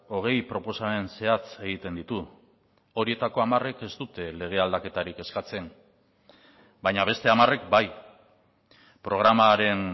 hogei proposamen zehatz egiten ditu horietako hamarek ez dute lege aldaketarik eskatzen baina beste hamarek bai programaren